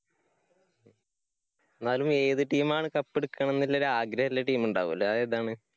എന്നാലും ഏത് team ആണ് cup എടുക്കണമെന്നുള്ള ഒരു ആഗ്രഹം ഉള്ള team ഉണ്ടാകുമല്ലോ? അതേതാണ്?